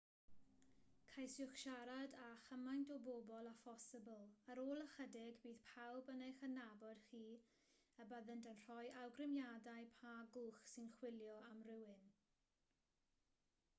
ceisiwch siarad â chymaint o bobl â phosibl ar ôl ychydig bydd pawb yn eich adnabod chi a byddant yn rhoi awgrymiadau pa gwch sy'n chwilio am rywun